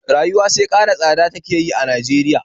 Rayuwa sai ƙara tsada take a Najeriya